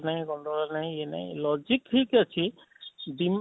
ନାଇଁ ଗଣ୍ଡଗୋଳ ନାଇଁ ଇଏ ନାଇଁ logic ଠିକ ଅଛି